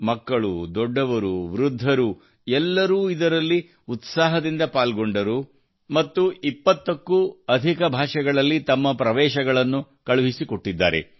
ಮಕ್ಕಳು ದೊಡ್ಡವರು ವೃದ್ಧರೂ ಎಲ್ಲರೂ ಇದರಲ್ಲಿ ಉತ್ಸಾಹದಿಂದ ಪಾಲ್ಗೊಂಡರು ಮತ್ತು 20 ಕ್ಕೂ ಅಧಿಕ ಭಾಷೆಗಳಲ್ಲಿ ತಮ್ಮ ಪ್ರವೇಶ ಅರ್ಜಿಗಳನ್ನು ಕಳುಹಿಸಿಕೊಟ್ಟಿದ್ದಾರೆ